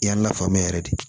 I y'a la faamuya yɛrɛ de